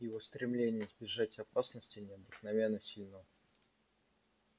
его стремление избежать опасности необыкновенно сильно